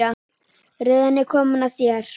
Röðin er komin að þér.